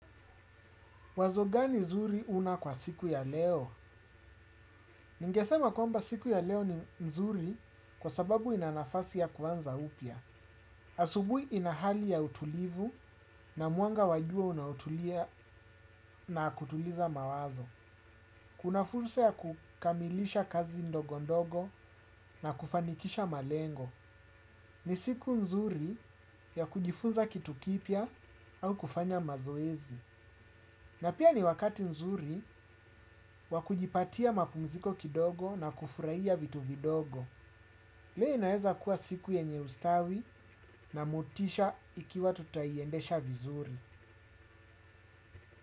Wazo gani zuri una kwa siku ya leo? Ningesema kwamba siku ya leo ni mzuri kwa sababu ina nafasi ya kuanza upya. Asubuhi ina hali ya utulivu na mwanga wa jua unaotulia na kutuliza mawazo. Kuna fursa ya kukamilisha kazi ndogondogo na kufanikisha malengo. Ni siku nzuri ya kujifunza kitu kipya au kufanya mazoezi. Na pia ni wakati nzuri wa kujipatia mapumziko kidogo na kufurahia vitu vidogo. Leo inaweza kuwa siku yenye ustawi na motisha ikiwa tutaiendesha vizuri.